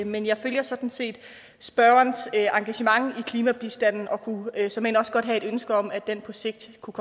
men jeg deler sådan set spørgerens engagement i klimabistanden og kunne såmænd også godt have et ønske om at den på sigt kunne